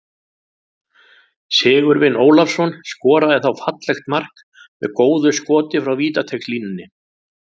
Sigurvin Ólafsson skoraði þá fallegt mark með góðu skoti frá vítateigslínunni.